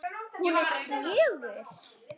Hún er fjögur.